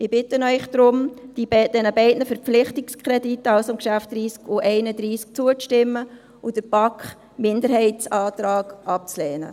Ich bitte Sie deshalb, den beiden Verpflichtungskrediten, also den Geschäften 30 und 31, zuzustimmen und den BaK-Minderheitsantrag abzulehnen.